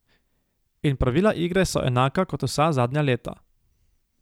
In pravila igre so enaka kot vsa zadnja leta.